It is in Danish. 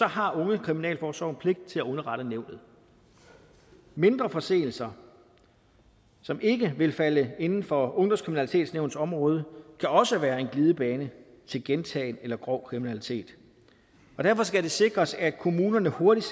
har ungekriminalforsorgen pligt til at underrette nævnet mindre forseelser som ikke vil falde inden for ungdomskriminalitetsnævnets område kan også være en glidebane til gentagen eller grov kriminalitet og derfor skal det sikres at kommunerne hurtigt